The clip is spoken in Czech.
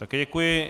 Také děkuji.